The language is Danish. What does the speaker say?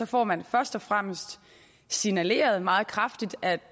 får man først og fremmest signaleret meget kraftigt at